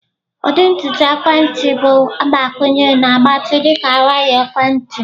Ụdị ntutu waya ekwentị bụ mgbakwunye na-agbatị dị ka waya ekwentị.